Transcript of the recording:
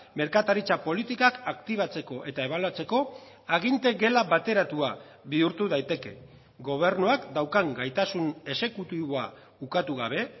merkataritza politikak aktibatzeko eta ebaluatzeko aginte gela bateratua bihurtu daiteke gobernuak daukan gaitasun exekutiboa ukatu gabe